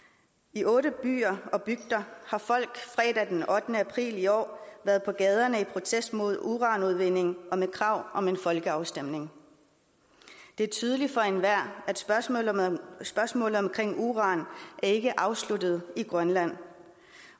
i otte byer og bygder har folk fredag den ottende april i år været på gaderne i protest mod uranudvinding og med krav om en folkeafstemning det er tydeligt for enhver at spørgsmålet om uran ikke er afsluttet i grønland